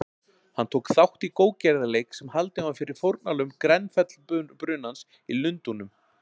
Hann tók þátt í góðgerðarleik sem haldinn var fyrir fórnarlömb Grenfell-brunans í Lundúnum.